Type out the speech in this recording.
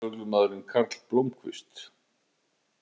Leynilögreglumaðurinn Karl Blómkvist